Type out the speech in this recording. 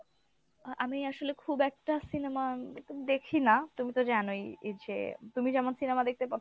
আমি আসলে খুব একটা cinema দেখি না তুমি তো জানোই এই যে তুমি যেমন cinema দেখতে পছন্দ কর